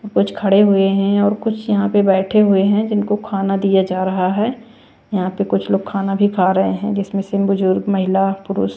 कुछ खड़े हुए हैं और कुछ यहाँ पे बैठे हुए हैं जिनको खाना दिया जा रहा है यहाँ पे कुछ लोग खाना भी खा रहे हैं जिसमें से बुजुर्ग महिला पुरुष--